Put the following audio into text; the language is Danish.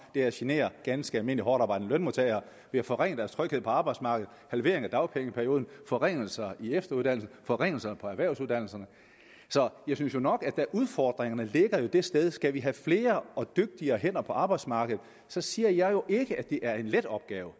er at genere ganske almindelige hårdtarbejdende lønmodtagere med forringelser af deres tryghed på arbejdsmarkedet halvering af dagpengeperioden forringelser af efteruddannelsen og forringelser på erhvervsuddannelserne så jeg synes jo nok at udfordringerne ligger det sted hvor vi skal have flere og dygtigere hænder på arbejdsmarkedet jeg siger jo ikke at det er en let opgave